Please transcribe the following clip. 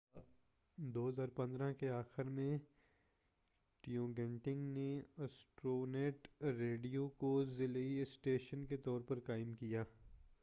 2015کے آخر میں ٹوگینیٹ نے ایسٹرونیٹ ریڈیو کو ذیلی اسٹیشن کے طور پر قائم کیا